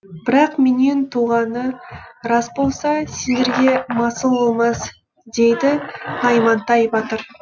бірақ менен туғаны рас болса сендерге масыл болмас дейді наймантай батыр